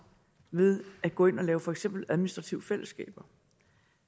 ved at gå ind og lave for eksempel administrative fællesskaber